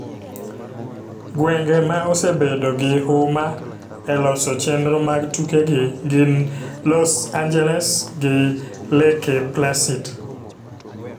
Gwenge ma osebedo gi huma e loso chenro mag tuke gi gin Los Angeles gi Leke Placid